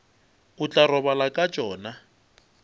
o tla robala ka tšona